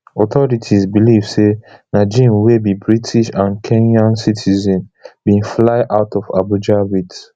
authorities believe say najeem wey be british and kenyan citizen bin fly out of abuja wit